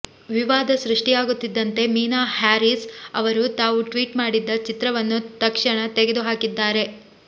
ವಿವಾದ ಸೃಷ್ಟಿಯಾಗುತ್ತಿದ್ದಂತೆ ಮೀನಾ ಹ್ಯಾರಿಸ್ ಅವರು ತಾವು ಟ್ವೀಟ್ ಮಾಡಿದ್ದ ಚಿತ್ರವನ್ನು ತಕ್ಷಣ ತೆಗೆದು ಹಾಕಿದ್ದಾರೆ